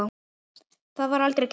Það var aldrei gert.